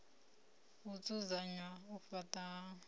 u dzudzanya u faṱwa ha